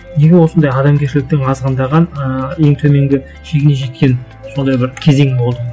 неге осындай адамгершіліктің азғындаған ыыы ең төменгі шегіне жеткен сондай бір кезең болды